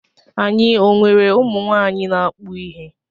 Anyị ọ nwere ụmụ nwaanyị na-akpụ ihe.